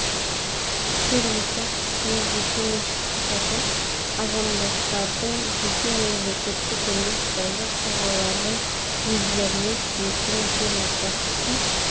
жер учаскесіне жеке меншік құқығы азаматтардың және мемлекеттік емес заңды тұлғалардың өздеріне тиесілі жер учаскесін